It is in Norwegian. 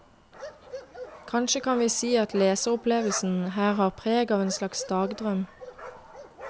Kanskje kan vi si at leseropplevelsen her har preg av en slags dagdrøm.